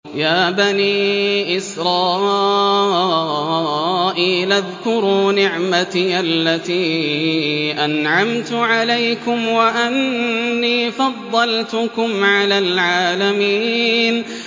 يَا بَنِي إِسْرَائِيلَ اذْكُرُوا نِعْمَتِيَ الَّتِي أَنْعَمْتُ عَلَيْكُمْ وَأَنِّي فَضَّلْتُكُمْ عَلَى الْعَالَمِينَ